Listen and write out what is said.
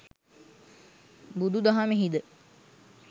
බුදුදහමෙහි ද